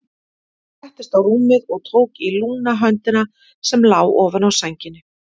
Ég settist á rúmið og tók í lúna höndina sem lá ofan á sænginni.